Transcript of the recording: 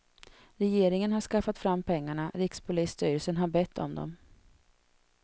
Regeringen har skaffat fram pengarna, rikspolisstyrelsen har bett om dem.